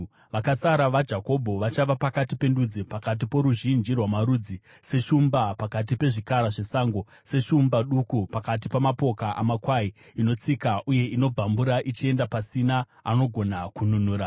Vakasara vaJakobho vachava pakati pendudzi, pakati poruzhinji rwamarudzi, seshumba pakati pezvikara zvesango, seshumba duku pakati pamapoka amakwai, inotsika uye inobvambura ichienda, pasina anogona kununura.